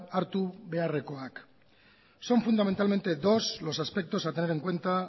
hartu beharrekoak son fundamentalmente dos los aspectos a tener en cuenta